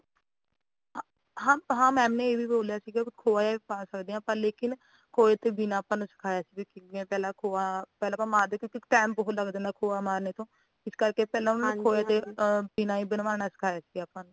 ਹਾਂ ਹਾਂ madam ਨੇ ਇਹ ਵੀ ਬੋਲਿਆ ਸੀਗਾ ਵੀ ਖੋਆ ਵੀ ਪਾ ਸਕਦੇ ਆ ਪਰ ਲੇਕਿਨ ਖੋਏ ਤੋਂ ਬਿਨਾਂ ਆਪਾ ਨੂੰ ਸਿਖਾਇਆ ਸੀ ਵੀ ਪਹਿਲਾਂ ਖੋਆ ਪਹਿਲਾਂ ਆਪਾ ਮਾਰਦੇ ਆ ਕਿਉਂਕਿ time ਬਹੁਤ ਲੈਂਦਾ ਖੋਆ ਮਾਰਨੇ ਕੋ ਇਸ ਕਰਕੇ ਪਹਿਲਾਂ ਖੋਏ ਦੇ ਬਿਨਾ ਹੀ ਬਨਵਾਣਾ ਸਿਖਾਇਆ ਸੀਗਾ ਆਪਾ ਨੂੰ